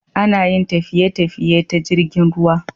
Anayin tafiye tafiye ta jirgin ruwa